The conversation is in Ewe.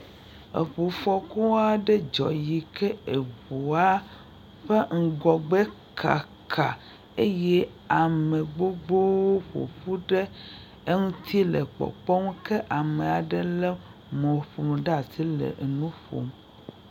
Eŋufɔku aɖe dzɔ eye eŋua ƒe ŋgɔgbe kaka. Eye ame gbogbowo ƒo ƒu ɖe eŋuti le kpɔkpɔ. Ke ame aɖe lé mɔ̃ƒonu ɖe asi le enu ƒom.